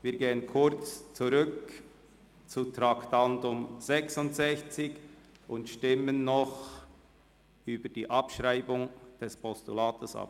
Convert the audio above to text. Wir gehen zurück zu Traktandum 66 und stimmen über die Abschreibung des Postulats ab.